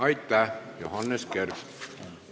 Aitäh, Johannes Kert!